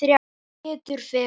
Sem betur fer?